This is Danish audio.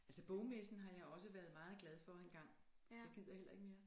Altså bogmessen har jeg også været meget glad for engang jeg gider heller ikke mere